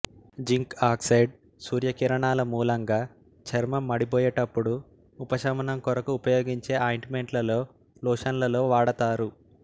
zinc oxide సూర్యకిరణాలమూలంగా చర్మం మడిపోయేటపుడు ఉపశమనం కొరకు ఉపయోగించే ఆయింటుమెంట్లలో లోషన్స్ లలో వాడుతారు